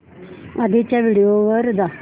आधीच्या व्हिडिओ वर जा